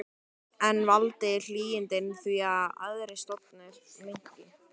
En valda hlýindin því að aðrir stofnar minnki?